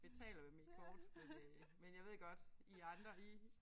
Betaler med mit kort men øh men jeg ved godt I andre I